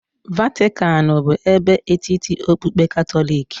Vatican bụ ebe etiti okpukpe Katọlik.